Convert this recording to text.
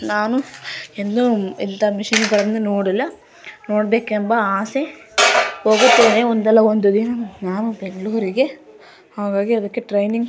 ನಾನು ಎಂದು ಈ ತರ ಮಷೀನ್ ನೋಡಿರಲಿಲ್ಲ ನೋಡಬೇಕೆಂಬ ಅಸೆ ಒಂದು ದಿನ ಬೆಂಗಳೂರು ಗೆ ಹೋಗುತ್ತೇನೆ ಇದರ ಟ್ರೇನಿಂಗ ---